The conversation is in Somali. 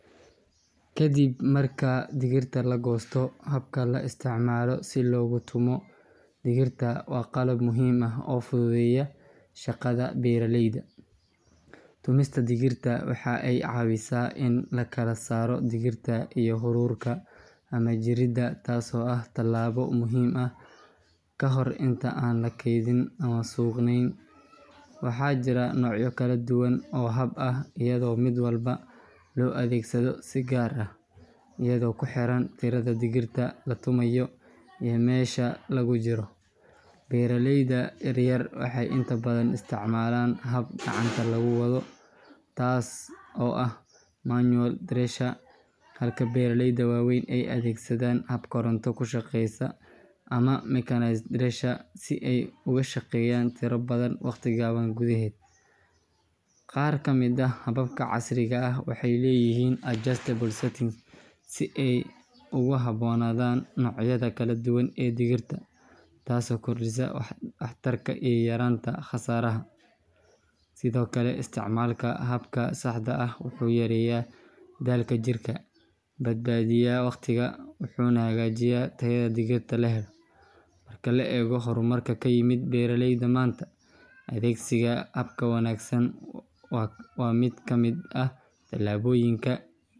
Ka dib marka digirta la goosto, haabka la isticmaalo si loogu tumo digirta waa qalab muhiim ah oo fududeeya shaqada beeralayda. Tumista digirta waxa ay caawisaa in la kala saaro digirta iyo haruurka ama jirridda, taasoo ah talaabo muhiim ah ka hor inta aan la kaydin ama suuqgeynin. Waxaa jira noocyo kala duwan oo haab ah, iyadoo mid walba loo adeegsado si gaar ah iyadoo ku xiran tirada digirta la tumayo iyo meesha lagu jiro. Beeraleyda yaryar waxay inta badan isticmaalaan haab gacanta lagu wado, taas oo ah manual thresher, halka beeraleyda waaweyn ay adeegsadaan haab koronto ku shaqeeya ama mechanized thresher si ay uga shaqeeyaan tiro badan waqti gaaban gudaheed. Qaar ka mid ah haababka casriga ah waxay leeyihiin adjustable settings si ay ugu habboonaadaan noocyada kala duwan ee digirta, taasoo kordhisa waxtarka iyo yaraynta khasaaraha. Sidoo kale, isticmaalka haabka saxda ah wuxuu yareeyaa daalka jirka, badbaadiyaa waqtiga, wuxuuna hagaajiyaa tayada digirta la helo. Marka la eego horumarka ku yimid beeralayda maanta, adeegsiga haab wanaagsan waa mid ka mid ah tallaabooyinka.